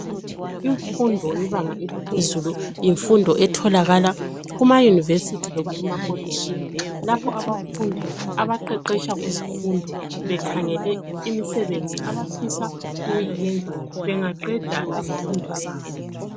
Imfundo yebanga eliphezulu yimfundo etholakala kuma Yunivesi loba emakolitshini lapho abafundi abaqeqesha kuzifundo bekhangele imisebenzi abafisa ukuyiyenza bengaqeda izifundo zabo.